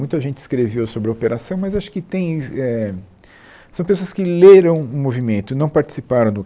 Muita gente escreveu sobre a operação, mas acho que tem éh são pessoas que leram o movimento e não participaram do